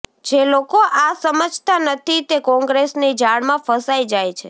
જે લોકો આ સમજતા નથી તે કોંગ્રેસની જાળમાં ફસાય જાય છે